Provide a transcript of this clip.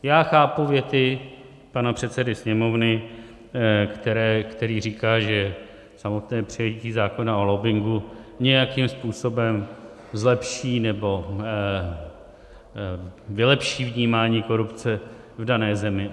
Já chápu věty pana předsedy Sněmovny, který říká, že samotné přijetí zákona o lobbingu nějakým způsobem zlepší nebo vylepší vnímání korupce v dané zemi.